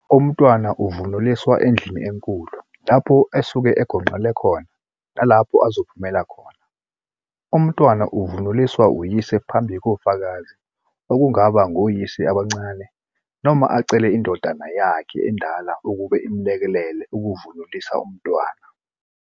Umntwana uvunuliswa endlini enkulu lapho asuke egonqele khona nalapho ezophumela khona. Umntwana uvunuliswa uyise phambi kofakazi okungaba ngoyise abancane noma acele indodana yakhe endala ukuba imelekelele ukuvunulisa umntwana.